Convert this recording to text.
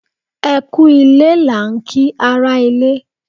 Ẹ kú u lé là ń kí ara ilé.